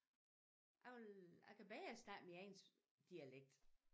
Jeg vil jeg kan bedre snakke min egen dialekt